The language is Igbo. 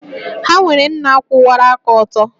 Ha nwere nna kwụwara aka ọtọ